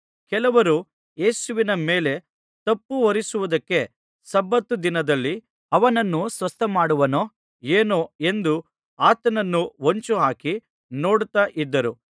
ಕೆಲವರು ಯೇಸುವಿನ ಮೇಲೆ ತಪ್ಪುಹೊರಿಸುವುದಕ್ಕೆ ಸಬ್ಬತ್ ದಿನದಲ್ಲಿ ಅವನನ್ನು ಸ್ವಸ್ಥಮಾಡುವನೋ ಏನೋ ಎಂದು ಆತನನ್ನು ಹೊಂಚುಹಾಕಿ ನೋಡುತ್ತಾ ಇದ್ದರು